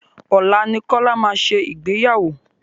Ọ̀la ni Kola máa ṣe Ìgbéyàwó.